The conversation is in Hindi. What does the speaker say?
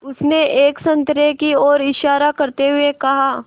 उसने एक संतरे की ओर इशारा करते हुए कहा